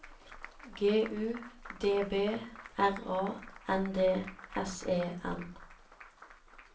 G U D B R A N D S E N